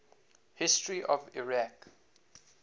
history of iraq